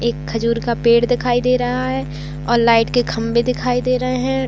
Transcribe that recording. एक खजूर का पेड़ दिखाई दे रहा है और लाइट के खंभे दिखाई दे रहे है।